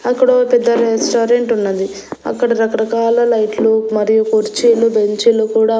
అక్కడో పెద్ద రెస్టారెంట్ ఉన్నది అక్కడ రకరకాల లైట్లు మరియు కుర్చీలు బెంచీలు కూడా--